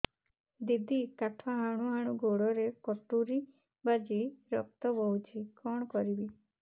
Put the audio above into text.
ଦିଦି କାଠ ହାଣୁ ହାଣୁ ଗୋଡରେ କଟୁରୀ ବାଜି ରକ୍ତ ବୋହୁଛି କଣ କରିବି